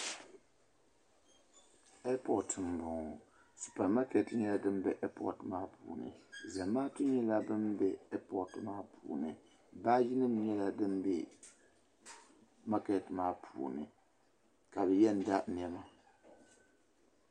Ɛipot m bo ŋɔ supa maketi nyela din be ɛipot maa puuni zamaatu nyela ban be ɛipot maa puuni baaginim nyela din be maketi maa puuni ka bi yɛn da nɛma.